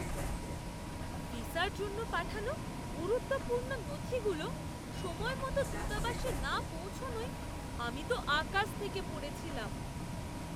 ভিসার জন্য পাঠানো গুরুত্বপূর্ণ নথিগুলো সময়মতো দূতাবাসে না পৌঁছনোয় আমি তো আকাশ থেকে পড়েছিলাম।